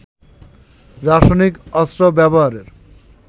রাসায়নিক অস্ত্র ব্যবহারের